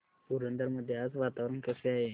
पुरंदर मध्ये आज वातावरण कसे आहे